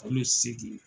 Kalo seegin